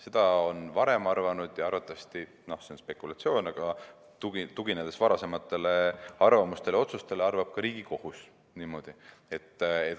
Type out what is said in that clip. Seda on varem arvanud ja arvatavasti – see on spekulatsioon, aga ma tuginen varasematele arvamustele ja otsustele – arvab ka Riigikohus niimoodi.